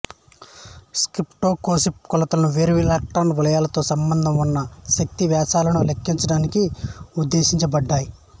spectroscopic కొలతలు వేర్వేరు electron వలయాలతో సంబంధం ఉన్న శక్తి వ్యత్యాసాలను లెక్కించడానికి ఉద్దేశించబడ్డాయి